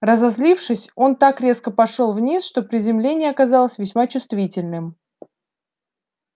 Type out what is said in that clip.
разозлившись он так резко пошёл вниз что приземление оказалось весьма чувствительным